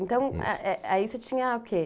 Então, eh, eh, aí você tinha o quê?